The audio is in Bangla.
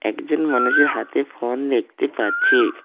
একজন মানুষের হাতে ফোন দেখতে পাচ্ছি।